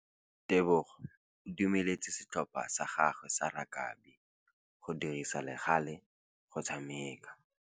Tebogô o dumeletse setlhopha sa gagwe sa rakabi go dirisa le galê go tshameka.